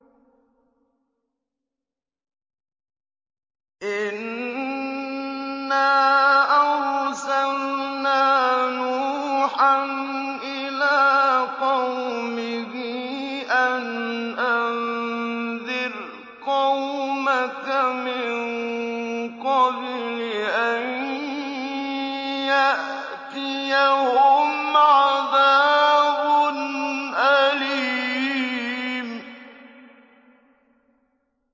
إِنَّا أَرْسَلْنَا نُوحًا إِلَىٰ قَوْمِهِ أَنْ أَنذِرْ قَوْمَكَ مِن قَبْلِ أَن يَأْتِيَهُمْ عَذَابٌ أَلِيمٌ